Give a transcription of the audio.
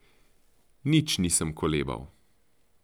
Nič nisem kolebal.